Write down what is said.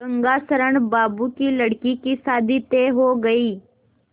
गंगाशरण बाबू की लड़की की शादी तय हो गई